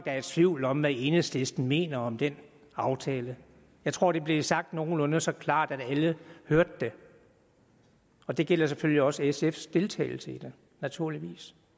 er i tvivl om hvad enhedslisten mener om den aftale jeg tror det blev sagt nogenlunde så klart at alle hørte det og det gælder selvfølgelig også sfs deltagelse i det naturligvis